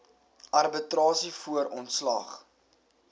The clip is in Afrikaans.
arbitrasie voor ontslag